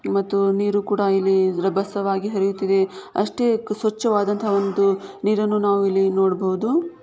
ಮತ್ತು ನೀರು ಕೂಡ ಇಲ್ಲಿ ರಭಸವಾಗಿ ಹರಿಯುತ್ತಿದೆ ಅಷ್ಟೇ ಸ್ವಚ್ಚವಾದಂತಹ ಒಂದು ನೀರನ್ನು ನಾವ್ ಇಲ್ಲಿ ನೋಡಬಹುದು.